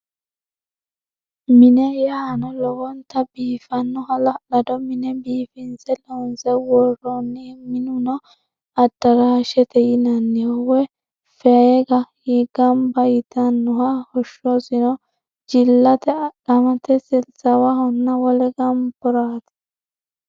Mine yaano lowonta biiffanno hala'lado mine biifinse loonse worroonni. Minuno addaraashete yinanniho woyi faga Gamba yitannoho hoshshosino jillate adhamate silsaawahonna wole gamboraati.